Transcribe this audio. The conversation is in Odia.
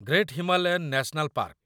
great Himalayan national park